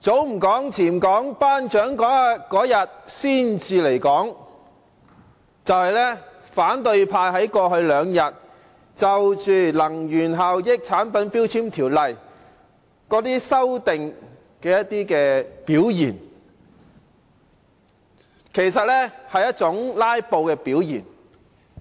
早唔講，遲唔講，頒獎嗰日先至嚟講"，這便是反對派在過去兩天就修訂《能源效益條例》的表現，其實也是一種"拉布"的表現。